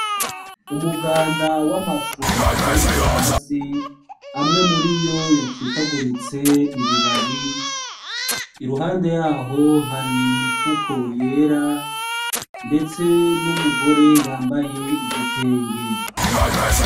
Umuganda w'amashu ateretse hasi, amwe muriyo yacikaguritse ibibabi, iruhande yaho hari imifuko yera, ndetse n'umugore yambaye igitenge.